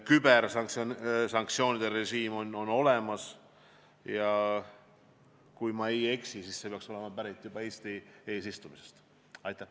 Kübersanktsioonide režiim on olemas ja kui ma ei eksi, siis see peaks olema pärit juba Eesti eesistumise ajast.